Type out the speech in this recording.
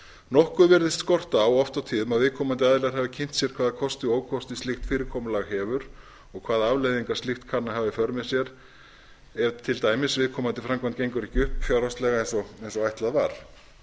nokkuð virðist skorta á oft og tíðum að viðkomandi aðilar hafi kynnt sér hvaða kosti og ókosti slíkt fyrirkomulag hefur og hvaða afleiðingar slíkt kann að hafa í för með sér ef til dæmis viðkomandi framkvæmd gengur ekki fjárhagslega eins og ætlað var